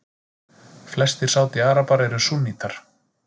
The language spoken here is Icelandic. Flestir Sádi-Arabar eru súnnítar.